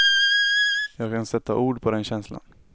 Jag kan sätta ord på den känslan.